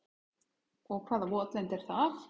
Og hvaða votlendi er það?